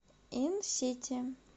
инсити